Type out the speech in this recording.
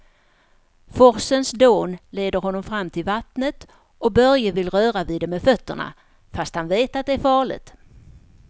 Forsens dån leder honom fram till vattnet och Börje vill röra vid det med fötterna, fast han vet att det är farligt.